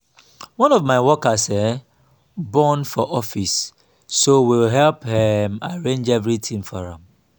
one of my workers um born for office so we help um arrange everything for am